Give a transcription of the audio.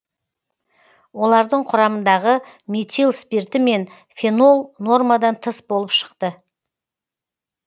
олардың құрамындағы метил спирті мен фенол нормадан тыс болып шықты